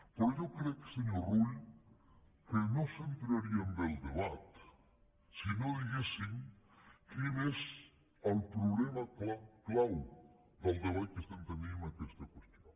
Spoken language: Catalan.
però jo crec senyor rull que no centraríem bé el debat si no diguéssim quin és el problema clau del debat que estem tenint amb aquesta qüestió